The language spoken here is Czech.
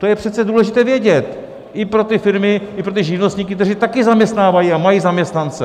To je přece důležité vědět, i pro ty firmy, i pro ty živnostníky, kteří také zaměstnávají a mají zaměstnance.